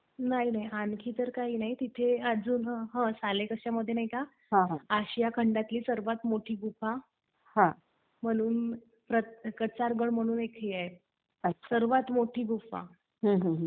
नाही नाही, आणखी तर काही नाही. तिथे अजून हं सालेकसामध्ये नाही का आशिया खंडातली सर्वात मोठी गुफा, म्हणून, कर्तारगड म्हणून हे एक हे आहे, सर्वात मोठी गुफा.